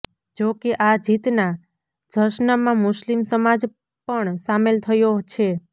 જો કે આ જીતના જશ્નમાં મુસ્લિમ સમાજ પણ સામેલ થયો છે